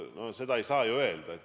No seda ei saa ju öelda.